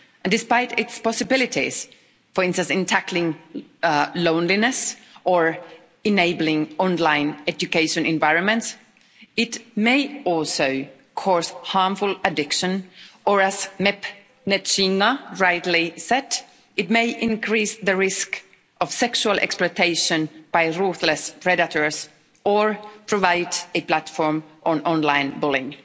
Despite its possibilities, for instance in tackling loneliness or enabling online educational environments, it may also cause harmful addiction, or as MEP Nethsingha rightly said, it may increase the risk of sexual exploitation by ruthless predators or provide a platform for online bullying.